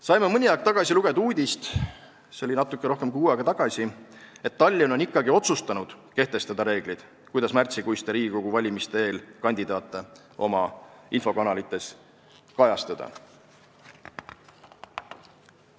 Saime mõni aeg tagasi lugeda uudist – see oli natuke rohkem kui kuu aega tagasi –, et Tallinn on ikkagi otsustanud kehtestada reeglid, kuidas märtsikuiste Riigikogu valimiste eel kandidaate oma infokanalites kajastada.